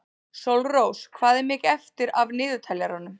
Sólrós, hvað er mikið eftir af niðurteljaranum?